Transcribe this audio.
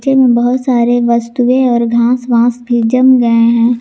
में बहुत सारे वस्तुएं और घास वास भी जम गए है।